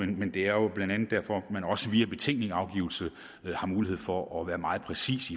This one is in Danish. men det er jo blandt andet derfor at man også via betænkningsafgivelse har mulighed for at være meget præcis